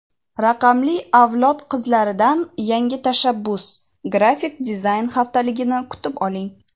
"Raqamli avlod qizlari"dan yangi tashabbus- Grafik dizayn haftaligini kutib oling!.